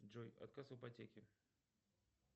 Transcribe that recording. джой отказ в ипотеке